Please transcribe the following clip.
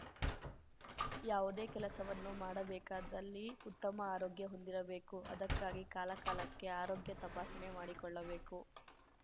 ಯಾವುದೇ ಕೆಲಸವನ್ನು ಮಾಡಬೇಕಾದಲ್ಲಿ ಉತ್ತಮ ಆರೋಗ್ಯ ಹೊಂದಿರಬೇಕು ಅದಕ್ಕಾಗಿ ಕಾಲಕಾಲಕ್ಕೆ ಆರೋಗ್ಯ ತಪಾಸಣೆ ಮಾಡಿಕೊಳ್ಳಬೇಕು